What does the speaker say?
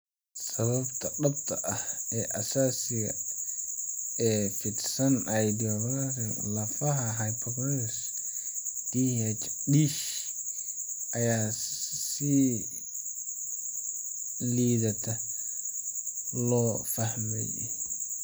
Sababta dhabta ah ee asaasiga ah ee fidsan idiopathic lafaha hyperostosis (DISH) ayaa si liidata loo fahmay.